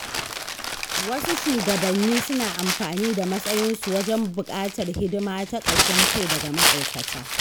Wasu shugabannin suna amfani da matsayinsu wajen buƙatar hidima ta ƙashin kai daga ma’aikata.